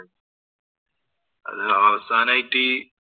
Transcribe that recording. അത് അവസാനായിട്ട്